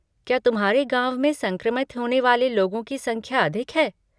क्या तुम्हारे गाँव में संक्रमित होने वाले लोगों की संख्या अधिक है?